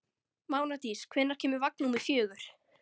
Mánadís, hvenær kemur vagn númer fjögur?